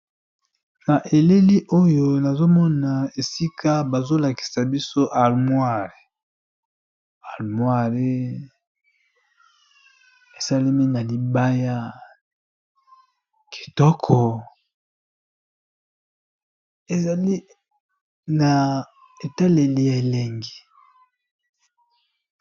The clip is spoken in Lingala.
Na eleli oyo nazomona esika bazolakisa biso amoire almoire esalemi na libaya kitoko ezali na etaleli ya elengi.